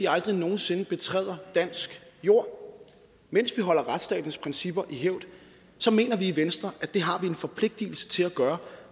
aldrig nogen sinde betræder dansk jord mens vi holder retsstatens principper i hævd så mener vi i venstre at det har vi en forpligtelse til at gøre